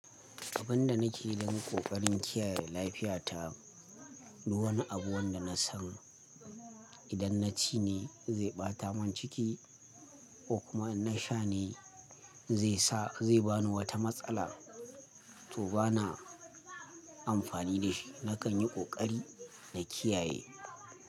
Abin da nake yi dan ƙoƙarin kiyaye lafiyata, duwani abu wanda na san idan na ci ne zai ɓata mun ciki ko kuma in na sha ne zai sa zai bani wata matsala, to bana amfani da shi. Nakan yi ƙoƙari na kiyaye.